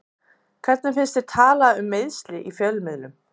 Hvernig finnst að tala um meiðsli í fjölmiðlum?